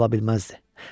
Burda çox qala bilməzdi.